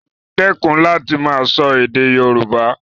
Dẹ́kun láti máa sọ èdè Yoruba